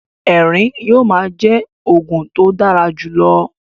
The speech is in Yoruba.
Ẹrín yóò ma jẹ oògùn to dára jùlọ